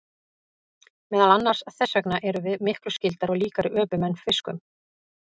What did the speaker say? Meðal annars þess vegna erum við miklu skyldari og líkari öpum en fiskum.